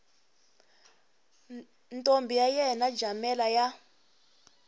ntombi ya yena jamela ya